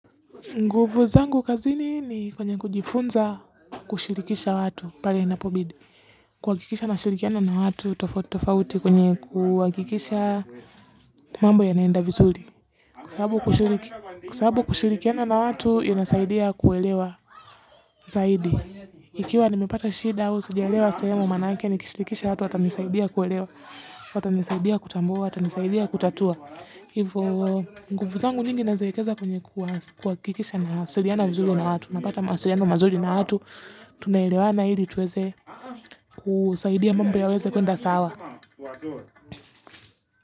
Nguvu zangu kazini ni kwenye kujifunza kushirikisha watu pale inapobidi. Kuhakikisha na shirikiana na watu tofauti tofauti kwenye kuhakikisha mambo ya naenda vizuri. Kwasababu kushirikiana na watu, inasaidia kuelewa zaidi. Ikiwa nimipata shida au, sijaelewa sehemu maanake, ni kishirikisha watu, watanisaidia kuelewa, watanisaidia kutambua, watanisaidia kutatua. Hivyo, nguvu zangu nyingi na ziekeza kwenye kuhakikisha na siriana vizuli na watu. Napata mawasiriano mazuli na watu. Tunaelewana ili tuweze kusaidia mambo ya weze kuenda sawa.